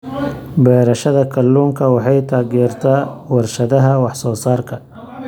Beerashada kalluunka waxay taageertaa warshadaha wax soo saarka.